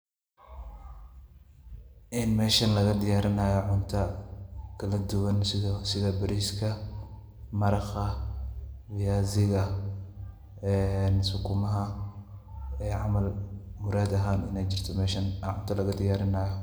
Inn meeshan laga diyaarinaayo cunto kaladuwan sida; sida; bariiska, marakha, viaziga, sukumaha ee camal muraad ahaan inaay jirto meesha cunto laga diyaarinaayo.